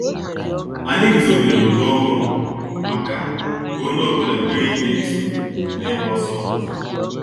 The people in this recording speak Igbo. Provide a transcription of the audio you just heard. Anyị guzobere òtù ọhụrụ maka ka onye ọ bụla nwee ike isonye na igba ọsọ ọzọ